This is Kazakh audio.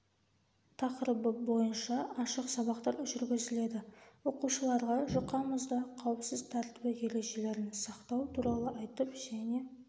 тақырыбы бойынша ашық сабақтар жүргізіледі оқушыларға жұқа мұзда қауіпсіз тәртібі ережелерін сақтау туралы айтып және